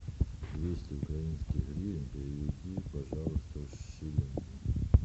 двести украинских гривен переведи пожалуйста в шиллинги